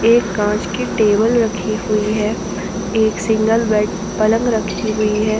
एक कांच की टेबल रखी हुई है एक सिंगल बेड पलंग रखी हुई है ।